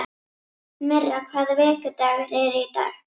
Myrra, hvaða vikudagur er í dag?